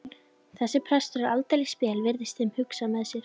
Þessi prestur er aldeilis spes, virðast þeir hugsa með sér.